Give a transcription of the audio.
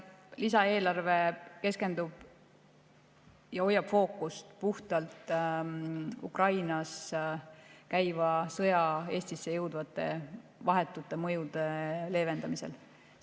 Lisaeelarve keskendub puhtalt Ukrainas käiva sõja Eestisse jõudvate vahetute mõjude leevendamisele ja hoiab fookust sellel.